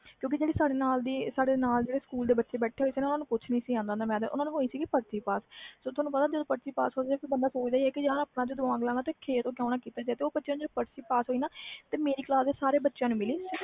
ਕਿਉਕਿ ਸਾਡੇ ਨਾਲ ਜਿਹੜੇ ਬੱਚੇ ਸੀ ਨਾਲੇ ਸਕੂਲ ਵਾਲੇ ਓਹਨੂੰ ਕੁਛ ਨਹੀਂ ਆਂਦਾ ਸੀ ਓਹਨੂੰ ਆਹ ਸੀ ਕਿ ਪਰਚੀ ਪਾਸ ਤੁਹਾਨੂੰ ਪਤਾ ਹੀ ਆ ਜਦੋ ਪਰਚੀ ਪਾਸ ਹੋ ਜੇ ਬੰਦਾ ਸੋਚ ਦਾ ਵ ਕਿ ਆਪਣਾ ਕਿ ਦਿਮਾਗ ਲੈਣਾ ਜਦੋ ਪਰਚੀ ਪਾਸ ਹੋਈ ਸਾਰੇ ਬੱਚਿਆਂ ਨੇ ਲਈ